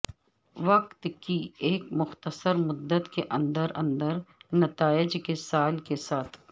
وقت کی ایک مختصر مدت کے اندر اندر نتائج کے سال کے ساتھ